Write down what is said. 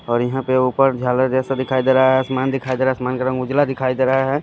और यहां पे ऊपर झालर जैसा दिखाई दे रहा है आसमान दिखाई दे रहा है आसमान का उजला दिखाई दे रहा है।